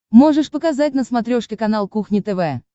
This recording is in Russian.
можешь показать на смотрешке канал кухня тв